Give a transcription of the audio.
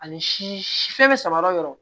Ani si si fɛn bɛ sama yɔrɔ yɔrɔ